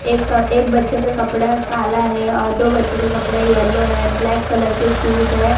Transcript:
एक कप एक बच्चों का कपड़ा काला है और दो बच्चों के कपड़ा येलो है ब्लैक कलर के शूज है।